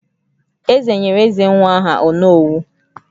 Eze nyere Ezenwa aha "Onowu"